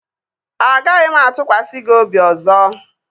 Agaghị m atụkwasị gị obi ọzọ